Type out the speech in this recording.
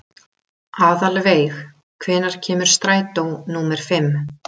Aðalveig, hvenær kemur strætó númer fimm?